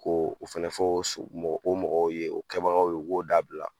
K'o fana fɔ so o mɔgɔw ye o kɛbagaw ye o k'o dabila.